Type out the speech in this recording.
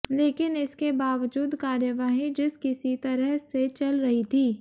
लेकिन इसके बावजूद कार्यवाही जिस किसी तरह से चल रही थी